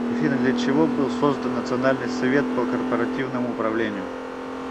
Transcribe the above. афина для чего был создан национальный совет по корпоративному управлению